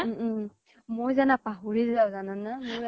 উম উম । মই জানা পাহৰি যাওঁ জানা না